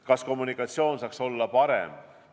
Kas kommunikatsioon saaks olla parem?